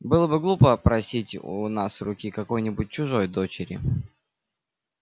было бы глупо просить у нас руки какой-нибудь чужой дочери